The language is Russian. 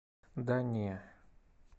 да не